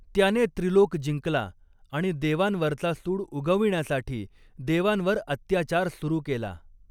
त्याने त्रिलोक जिंकला आणि देवांवरचा सूड उगविण्यासाठी देवांवर अत्याचार सुरू केला.